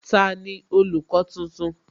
Tani olùkọ́ tuntun?